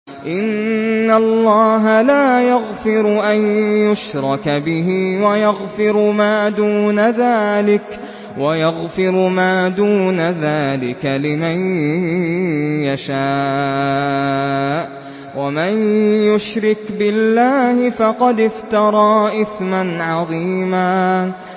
إِنَّ اللَّهَ لَا يَغْفِرُ أَن يُشْرَكَ بِهِ وَيَغْفِرُ مَا دُونَ ذَٰلِكَ لِمَن يَشَاءُ ۚ وَمَن يُشْرِكْ بِاللَّهِ فَقَدِ افْتَرَىٰ إِثْمًا عَظِيمًا